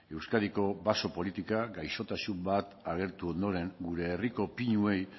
euskadiko baso politikak gaixotasun bat agertu ondoren gure herriko pinuei